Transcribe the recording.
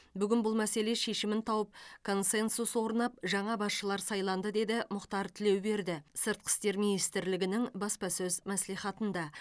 бүгін бұл мәселе шешімін тауып консенсус орнап жаңа басшылар сайланды деді мұхтар тілеуберді сыртқы істер министрлігінің баспасөз мәслихатында